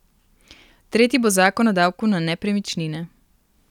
Tretji bo zakon o davku na nepremičnine.